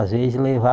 Às vezes